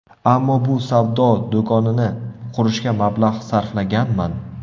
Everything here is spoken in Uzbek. Ammo bu savdo do‘konini qurishga mablag‘ sarflaganman.